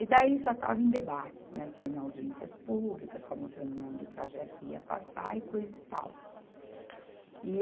E daí só estava em debates, né, só em audiências públicas, só mostrando onde o trajeto ia passar e coisa e tal. E